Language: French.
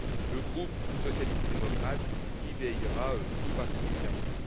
Le groupe socialiste et démocrate y veillera tout particulièrement.